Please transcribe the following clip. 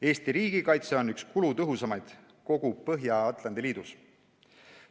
Eesti riigikaitse on üks kulutõhusamaid kogu Põhja-Atlandi liidus.